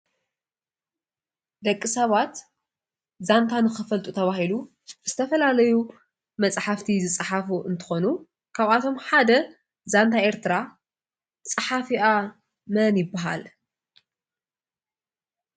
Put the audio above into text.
ደቂ ሰባት ዛንታ ንክፈልጡ ተባሃይሉ ኮዩኑ ዝተፈላለየ መፅሓፍት ዝፃሓፍ እንትኾኑ ካባኣቶሞ ሓደ ዛንታ ኤርትራ ፃሓፊኣ መን ይባሃል?